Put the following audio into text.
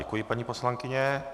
Děkuji, paní poslankyně.